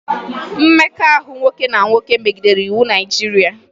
Mmekọahụ nwoke na nwoke megidere iwu Naịjirịa